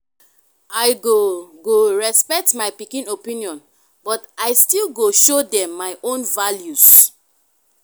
i go go respect my pikin opinion but i still go show dem my own values.